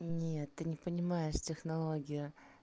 нет ты не понимаешь технологию